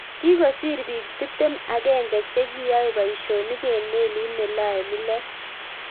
Kikisor bik tiptem agenge chekiyae boishonik eng melit nelae milet